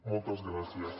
moltes gràcies